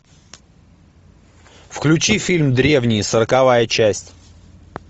включи фильм древние сороковая часть